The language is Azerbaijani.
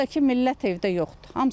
O da ki, millət evdə yoxdur.